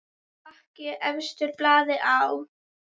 Bakki efstur blaði á.